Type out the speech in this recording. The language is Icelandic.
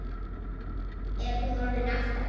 Er hún orðin átta?